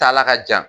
Taala ka jan